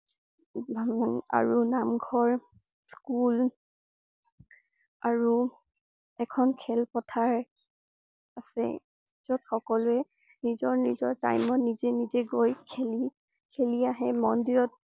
আৰু নামঘৰ, স্কুল আৰু এখন খেলপাৰ আছে। যত সকলোৱে নিজৰ নিজৰ time ত নিজে নিজে গৈ খেলি~খেলি আহে মন্দিৰত ।